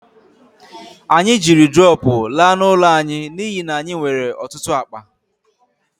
Anyị jiri drọpụ laa n'ụlọ anyị n'ihi na anyị nwere ọtụtụ akpa